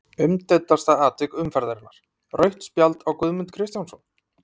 Umdeildasta atvik umferðarinnar: Rautt spjald á Guðmund Kristjánsson?